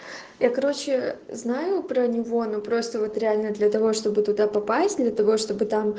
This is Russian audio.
я короче знаю про него но просто вот реально для того чтобы туда попасть для того чтобы там